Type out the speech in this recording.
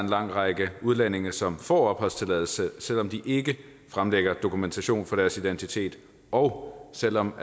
lang række udlændinge som får opholdstilladelse selv om de ikke fremlægger dokumentation for deres identitet og selv om